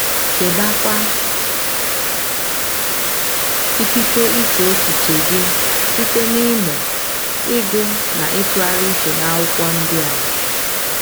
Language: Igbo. Chebekwa ikike iche echiche gị site n’ịmụ, ịgụ na ịtụgharị uche n’Akwụkwọ ndi a